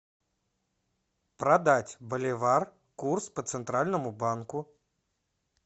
продать боливар курс по центральному банку